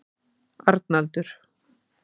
Arnaldur